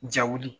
Ja wuli